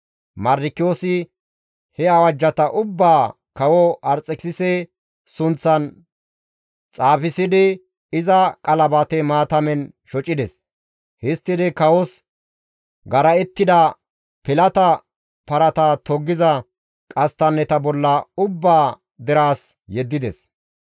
Mardikiyoosi he awajjata ubbaa kawo Arxekisise sunththan xaafissidi, iza qalabate maatamen shocides; histtidi kawos gara7ettida pilata parata toggiza qasttanneta bolla ubbaa deraas yeddides.